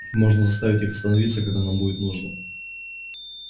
можно заставить их остановиться когда нам будет нужно